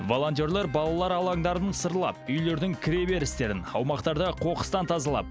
волонтерлер балалар алаңдарын сырлап үйлердің кіре берістерін аумақтарды қоқыстан тазалап